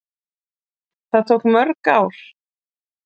Það tók mörg ár.